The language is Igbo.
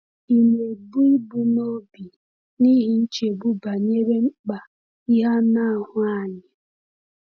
Ị̀ na-ebu ibu n’obi n’ihi nchegbu banyere mkpa ihe anụ ahụ anyị?